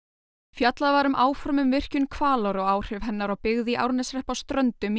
fjallað var um áform um virkjun Hvalár og áhrif hennar á byggð í Árneshreppi á Ströndum í